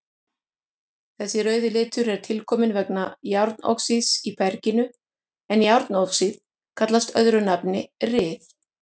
Þessi rauði litur er tilkominn vegna járnoxíðs í berginu en járnoxíð kallast öðru nafni ryð.